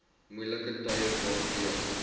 moeilike tye waardeur